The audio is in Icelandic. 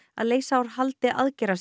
að leysa úr haldi